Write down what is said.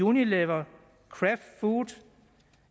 unilever kraft foods og